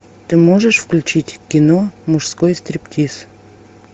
ты можешь включить кино мужской стриптиз